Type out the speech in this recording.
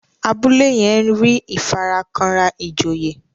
Abúlé yén rí ìfarakanra ìjòyè.